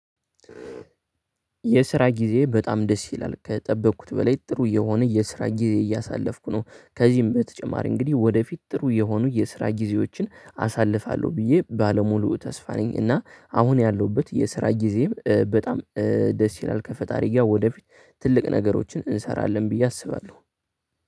የስራ ጊዜዬ በጣም ደስ ይላል ከጠበቅኩት በላይ ጥሩ የሆነ የስራ ጊዜ እያሳለፍኩ ነው። ከዚህም በተጨማሪ እንግዲህ ወደፊት ጥሩ የሆኑ የስራ ጊዜዎችን አሳልፋለሁ ብዬ ባለሙሉ ተስፋ ነኝ። እና አሁን ያለሁበት የስራ ጊዜም በጣም ደስ ይላል ከፈጣሪ ጋር ወደፊት ትልቅ ነገሮችን እንሰራለን ብዬ አስባለሁ።